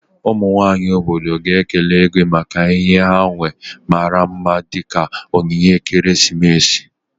Ụmụ nwanyị obodo ga-aga kelee Igwe maka inye ha uwe mara mma dị ka onyinye ekeresimesi.